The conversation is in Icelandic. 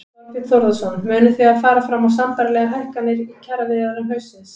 Þorbjörn Þórðarson: Munið þið fara fram á sambærilegar hækkanir í kjaraviðræðum haustsins?